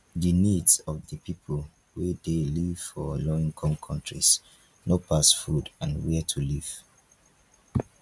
di needs of di pipo wey dey live for low income countries no pass food and where to live